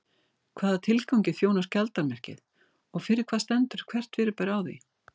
Hvaða tilgangi þjónar skjaldarmerkið og fyrir hvað stendur hvert fyrirbæri á því?